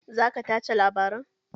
Za ka tace labaran?